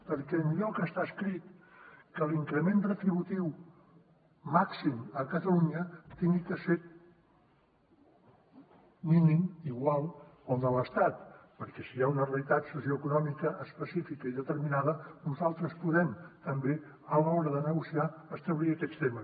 perquè enlloc està escrit que l’increment retributiu màxim a catalunya hagi de ser mínim igual al de l’estat perquè si hi ha una realitat socioeconòmica específica i determinada nosaltres podem també a l’hora de negociar establir aquests temes